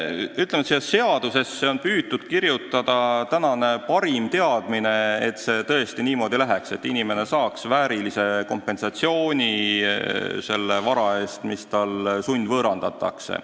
Ütlen, et siia eelnõusse on püütud kirjutada tänane parim teadmine, et see tõesti niimoodi läheb, et inimene saab väärilise kompensatsiooni selle vara eest, mis talt sundvõõrandatakse.